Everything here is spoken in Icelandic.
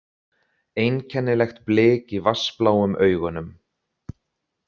Einkennilegt blik í vatnsbláum augunum.